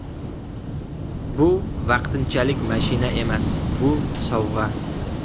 Bu vaqtinchalik mashina emas – bu sovg‘a.